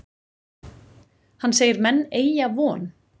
Hann segir menn eygja von.